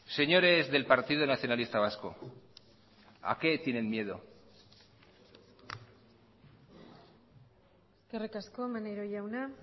señores del partido nacionalista vasco a qué tienen miedo eskerrik asko maneiro jauna